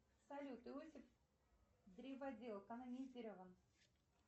салют иосиф древодел канонизирован